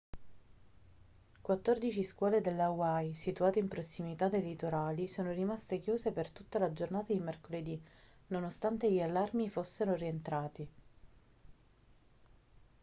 quattordici scuole delle hawaii situate in prossimità dei litorali sono rimaste chiuse per tutta la giornata di mercoledì nonostante gli allarmi fossero rientrati